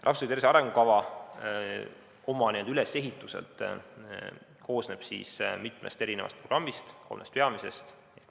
Rahvastiku tervise arengukava koosneb mitmest programmist, neid on kolm.